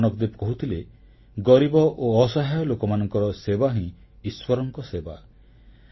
ଗୁରୁ ନାନକଦେବ କହୁଥିଲେ ଗରିବ ଓ ଅସହାୟ ଲୋକମାନଙ୍କର ସେବା ହିଁ ଈଶ୍ୱରଙ୍କ ସେବା